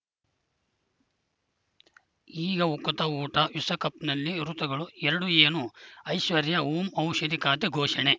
ಈಗ ಉಕುತ ಊಟ ವಿಶ್ವಕಪ್‌ನಲ್ಲಿ ಋತುಗಳು ಎರಡು ಏನು ಐಶ್ವರ್ಯಾ ಓಂ ಔಷಧಿ ಖಾತೆ ಘೋಷಣೆ